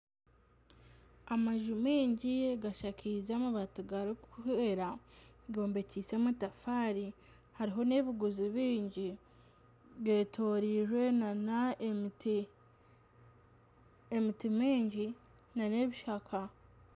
Amaju maingi gashakaize amabaati garikwera gombekyeise amatafaari, hariho n'ebiguzi bingi. Getoroirwe nana ebimi, emiti mingi nana ebishaka.